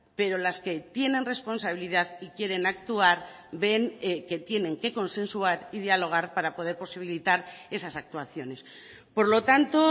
pero las que tienen responsabilidad y quieren actuar ven que tienen que consensuar y dialogar para poder posibilitar esas actuaciones por lo tanto